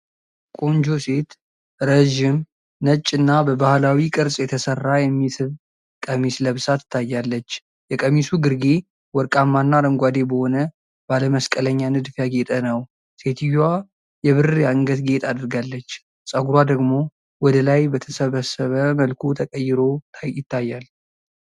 ቆንጆ ሴት ረዥም፣ ነጭ እና በባህላዊ ቅርጽ የተሰራ የሚስብ ቀሚስ ለብሳ ትታያለች። የቀሚሱ ግርጌ ወርቃማና አረንጓዴ በሆነ ባለ መስቀለኛ ንድፍ ያጌጠ ነው። ሴትየዋ የብር የአንገት ጌጥ አድርጋለች፤ ጸጉሯ ደግሞ ወደ ላይ በተሰበሰበ መልኩ ተቀይሮ ይታያል።